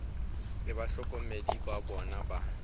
le bahlokomedi ba bona ba